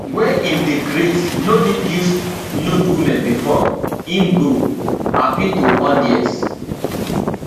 wey im dey create no need use nude women bifor im go appeal to audience